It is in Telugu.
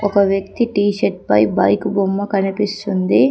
ఒక వ్యక్తి టీ షర్ట్ పై బైక్ బొమ్మ కనిపిస్తుంది.